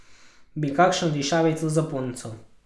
Bi kakšno dišavico za punco?